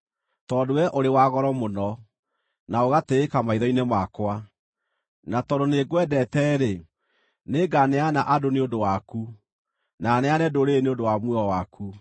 Tondũ wee ũrĩ wa goro mũno, na ũgatĩĩka maitho-inĩ makwa, na tondũ nĩngwendete-rĩ, nĩnganeana andũ nĩ ũndũ waku, na neane ndũrĩrĩ nĩ ũndũ wa muoyo waku.